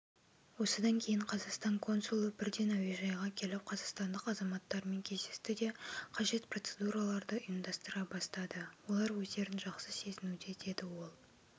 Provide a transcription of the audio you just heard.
осыдан кейін қазақстан консулы бірден әуежайға келіп қазақстандық азаматтармен кездесті де қажет процедураларды ұйымдастыра бастады олар өзджерін жақсы сезінуде деді ол